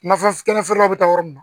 Nafa kɛnɛ feerelaw bɛ taa yɔrɔ mun na